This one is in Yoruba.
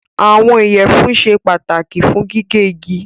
Àwọn iyẹfunsẹ́ pátàkì fún gígẹ̀ igi.